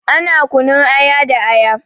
Ana kunun aya da aya.